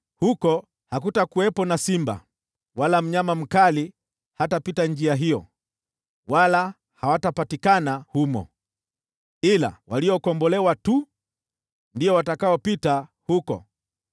Huko hakutakuwepo na simba, wala mnyama mkali hatapita njia hiyo, wala hawatapatikana humo. Ila waliokombolewa tu ndio watakaopita huko,